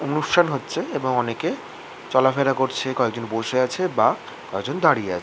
অনুষ্ঠান হচ্ছে এবং অনেকে চলাফেরা করছে কয়েকজন বসে আছে বা কয়েকজন দাঁড়িয়ে আছে ।